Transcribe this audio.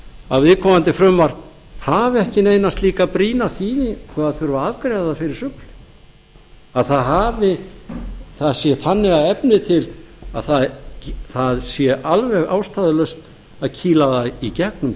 að viðkomandi frumvarp hafi ekki neina slíka brýna þýðingu að það þurfi að afgreiða það fyrir sumarið að það sé þannig að efni til að það sé alveg ástæðulaust að kýla það í gegnum